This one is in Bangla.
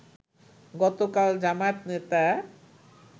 গতকাল জামায়াত নেতা